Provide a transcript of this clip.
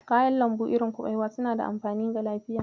Kayan lambu irin kuɓewa suna da amfani ga lafiya.